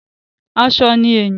Aṣọ ni èèyàn.